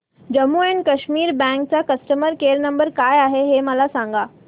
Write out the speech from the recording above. Jammu and Kashmir bank चा customer care number काय आहे हे मला सांगा